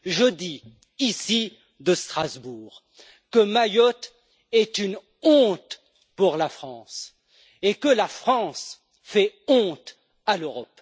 Je dis ici depuis Strasbourg que Mayotte est une honte pour la France et que la France fait honte à l'Europe.